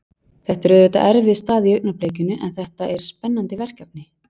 Þetta er auðvitað erfið staða í augnablikinu en þetta er spennandi verkefni.